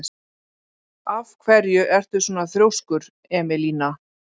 Af hverju ertu svona þrjóskur, Emelína?